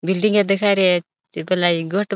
बिल्डिंग या देखाई रया --